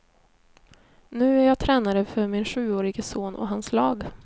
Nu är jag tränare för min sjuårige son och hans lag.